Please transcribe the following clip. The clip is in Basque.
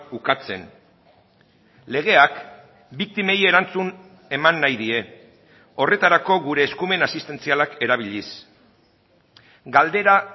ukatzen legeak biktimei erantzun eman nahi die horretarako gure eskumen asistentzialak erabiliz galdera